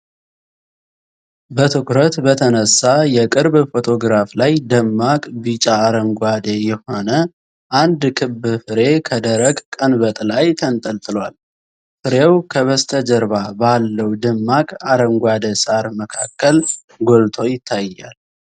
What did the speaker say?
በትኩረት በተነሳ የቅርብ ፎቶግራፍ ላይ፣ ደማቅ ቢጫ-አረንጓዴ የሆነ አንድ ክብ ፍሬ ከደረቅ ቀንበጥ ላይ ተንጠልጥሏል። ፍሬው ከበስተጀርባ ባለው ደማቅ አረንጓዴ ሳር መካከል ጎልቶ ይታያል።